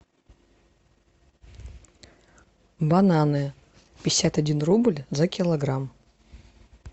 бананы пятьдесят один рубль за килограмм